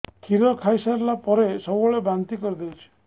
କ୍ଷୀର ଖାଇସାରିଲା ପରେ ସବୁବେଳେ ବାନ୍ତି କରିଦେଉଛି